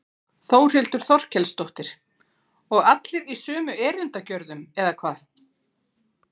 Þórhildur Þorkelsdóttir: Og allir í sömu erindagjörðum eða hvað?